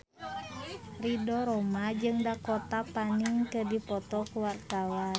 Ridho Roma jeung Dakota Fanning keur dipoto ku wartawan